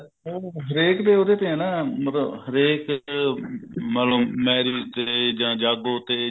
ਹਰੇਕ ਦੇ ਉਹਦੇ ਤੇ ਹੈ ਨਾ ਮਤਲਬ ਹਰੇਕ ਮਤਲਬ marriage ਤੇ ਜਾਂ ਜਾਗੋ ਤੇ